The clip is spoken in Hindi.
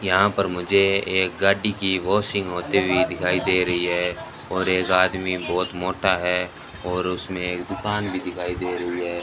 यहां पर मुझे एक गाड़ी की वॉशिंग होते हुए दिखाई दे रही है और एक आदमी बहुत मोटा है और उसमें एक दुकान भी दिखाई दे रही है।